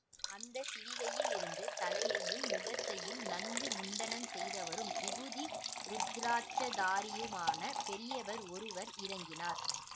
அந்த சிவிகையிலிருந்து தலையையும் முகத்தையும் நன்கு முண்டனம் செய்தவரும் விபூதி ருத்திராட்சதாரியுமான பெரியவர் ஒருவர் இறங்கினார்